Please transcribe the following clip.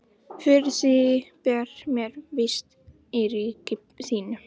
Fyrir því ber mér vist í ríki þínu.